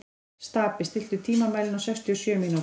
Stapi, stilltu tímamælinn á sextíu og sjö mínútur.